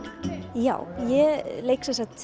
já ég leik sem sagt